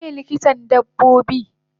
Waye likitan dabbobi?